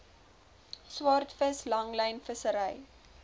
swaardvis langlyn vissery